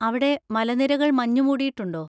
അവിടെ മലനിരകൾ മഞ്ഞുമൂടിയിട്ടുണ്ടോ?